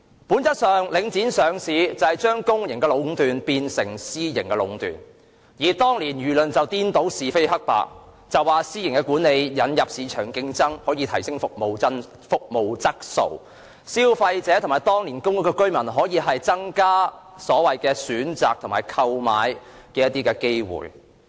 本質上，領匯上市是將公營壟斷變成私營壟斷，但當年的輿論卻顛倒是非黑白，指私營管理可引入市場競爭，提升服務質素，更可增加消費者和公屋居民的選擇和購物機會。